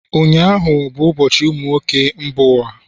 ụnyahụ bụ ụbọchị ụmụ nwoke mba ụwa